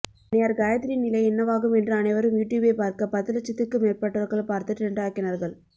அண்ணியார் காயத்ரியின் நிலை என்னவாகும் என்று அனைவரும் யுடுயூப்பை பார்க்க பத்து லட்சத்திற்கும் மேற்பட்டவர்கள் பார்த்து டிரெண்ட் ஆக்கினார்கள்